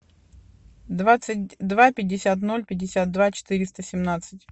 двадцать два пятьдесят ноль пятьдесят два четыреста семнадцать